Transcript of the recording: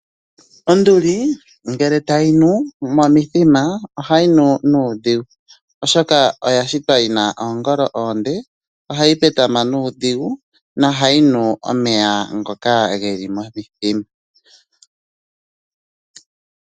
Onduli ngele tayi nu momithima ohayi nu nuudhigu oshoka oya shitwa yi na oongolo oonde. Ohayi petama nuudhigu nohayi nu omeya ngoka ge li momithima.